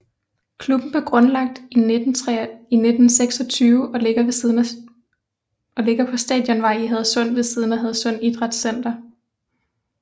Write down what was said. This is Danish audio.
Klubben blev grundlagt 1926 og ligger på Stadionvej i Hadsund ved siden af Hadsund Idrætscenter